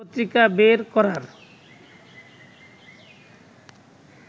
পত্রিকা বের করার